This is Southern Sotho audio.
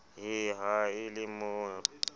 he ha e le mo